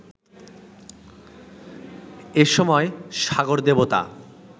এসময় সাগরদেবতা